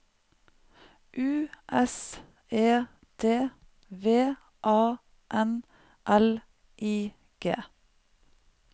U S E D V A N L I G